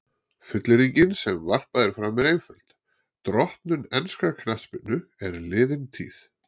Fullyrðingin sem varpað er fram er einföld: Drottnun enskrar knattspyrnu er liðin tíð.